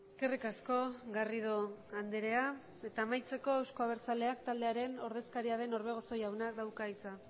eskerrik asko garrido andrea eta amaitzeko euzko abertzaleak taldearen ordezkaria den orbegozo jaunak dauka hitza